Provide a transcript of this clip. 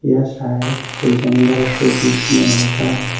यह शायद से जंगल के बीच में होगा।